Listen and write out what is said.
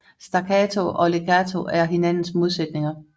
Staccato og legato er hinandens modsætninger